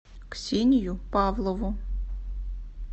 ксению павлову